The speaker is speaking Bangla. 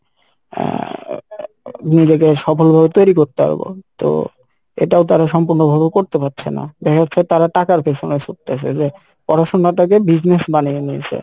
আহ নিজেকে সফল ভাবে তৈরী করতে পারবো তো এটাও তারা সম্পূর্ণভাবে করতে পারছে না দেখা যাচ্ছে তারা টাকার পেসনে ছুটতেছে যে পড়াশোনা টাকে business বানিয়ে নিয়েসে